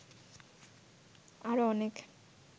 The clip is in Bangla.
আরো অনেক